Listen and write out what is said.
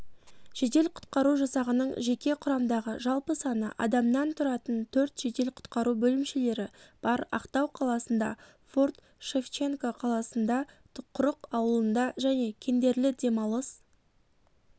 жедел-құтқару жасағының жеке құрамдағы жалпы саны адамнан тұратын төрт жедел-құтқару бөлімшелері бар ақтау қаласында форт-шевченко қаласында құрық ауылында және кендерлі демалыс